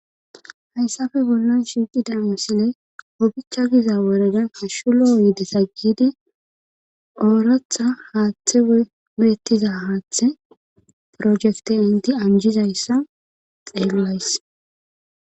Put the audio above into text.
Hayssafe bollon shinqidan misile obicha giza worada hashulo yidi saggidi ooratha haaththe wuyettiza haaththe projekte indi anjizayssa xeellays.